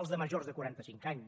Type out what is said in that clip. el de majors de quarantacinc anys